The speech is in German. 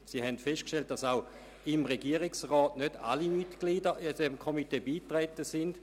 Sie haben festgestellt, dass nicht alle Mitglieder des Regierungsrats den Komitees beigetret- en sind.